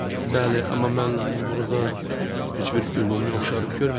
Bəli, amma mən burada heç bir ümumi oxşarlıq görmürəm.